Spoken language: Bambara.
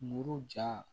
Muru ja